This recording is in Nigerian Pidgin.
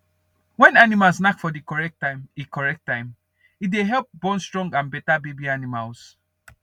when animals knack for the correct time e correct time e dey help born stronge and better baby animals